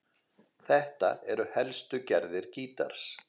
Þetta eru helstu gerðir gítars